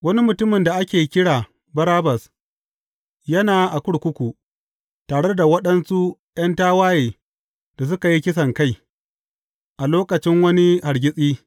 Wani mutumin da ake kira Barabbas, yana a kurkuku, tare da waɗansu ’yan tawaye da suka yi kisankai a lokacin wani hargitsi.